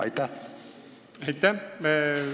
Aitäh!